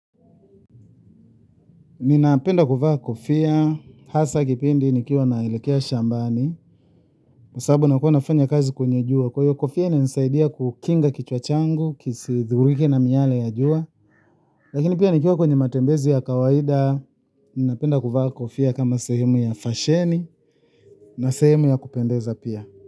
Ninapenda kuvaa kofia hasa kipindi nikiwa naelekea shambani, kwa sababu nilikua nafanya kazi kwenye jua kwa hiyo kofia inanisaidia kukinga kichwa changu, kisidhurike na miyale ya jua. Lakini pia nikiwa kwenye matembezi ya kawaida ninapenda kua kufia kama sehemu ya fasheni na sehemu ya kupendeza pia.